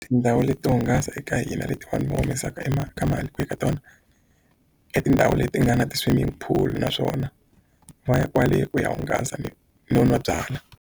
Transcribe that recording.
Tindhawu leto hungasa eka hina leti vanhu va humesaka i ma ka mali ku ya ka tona i tindhawu leti nga na ti-swimming pool naswona va ya kwale ku ya hungasa ni no nwa byalwa.